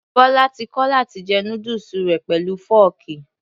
Bọlá ti kọ̀ láti jẹ núdùsù rẹ̀ pẹ̀lú fọ́ọ̀kì.